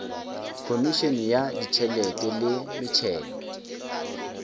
khomišene ya ditšhelete le metšhelo